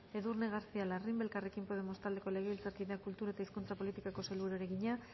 edurne garcía larrimbe elkarrekin podemos taldeko legebiltzarkideak kultura et hizkuntza politikako sailburuari egina